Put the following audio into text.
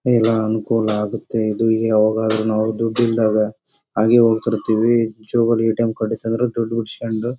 ಎಲ್ಲ ಅನುಕೂಲ ಆಗುತ್ತೆ ಇದು ಯಾವಾಗಾದರೂ ನಾವು ದುಡ್ಡು ಇಲ್ದಾಗ ಹಾಗೆ ಹೋಗ್ತಾಇರ್ತಿವಿ ಜೇಬ್ ಅಲ್ಲಿ ಈ ಟೈಮ್ ಕಾಡಿತಂದ್ರ ದುಡ್ಡು ಬಿಡ್ಸ್ಕೊಂಡು --